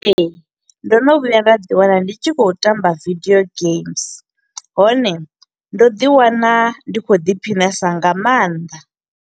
Ee, ndo no vhuya nda ḓi wana ndi tshi kho u tamba video games, hone ndo ḓi wana ndi kho u ḓiphinesa nga maanḓa.